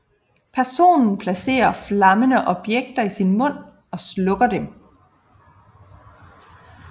Personen placerer flammende objekter i sin mund og slukker dem